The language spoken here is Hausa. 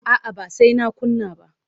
A'a ba sai na kunna ba.